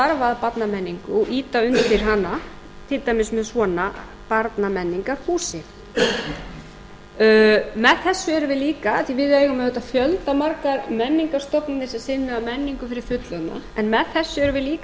að barnamenningu og ýta undir hana til dæmis með svona barnamenningarhúsi með þessu erum við líka af því við eigum auðvitað fjölda margar menningarstofnanir sem sinna menningu fyrir fullorðna en með þessu erum við líka að